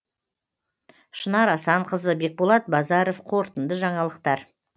шынар асанқызы бекболат базаров қорытынды жаңалықтар